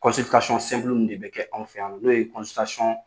Kɔnsilitasɔn simpulu ninnu de bɛ k'anwk'anw fɛ yan nɔ no ye kɔnsilitasɔn